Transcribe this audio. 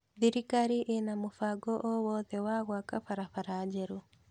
Thirikari ĩna mũbango o wothe wa gwaka barabara njerũ?